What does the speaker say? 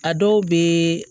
A dɔw be